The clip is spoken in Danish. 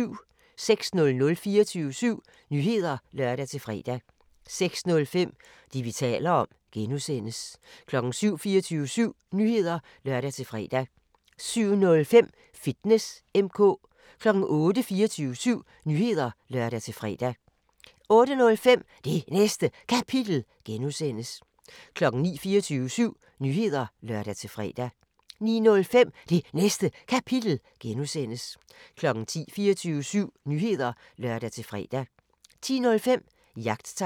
06:00: 24syv Nyheder (lør-fre) 06:05: Det, vi taler om (G) 07:00: 24syv Nyheder (lør-fre) 07:05: Fitness M/K 08:00: 24syv Nyheder (lør-fre) 08:05: Det Næste Kapitel (G) 09:00: 24syv Nyheder (lør-fre) 09:05: Det Næste Kapitel (G) 10:00: 24syv Nyheder (lør-fre) 10:05: Jagttegn